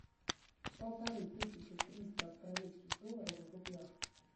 полторы тысячи триста австралийских долларов в рублях